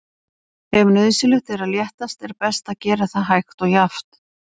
Ef nauðsynlegt er að léttast er best að gera það hægt og jafnt.